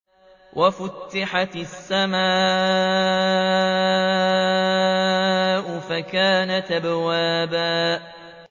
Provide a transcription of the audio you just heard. وَفُتِحَتِ السَّمَاءُ فَكَانَتْ أَبْوَابًا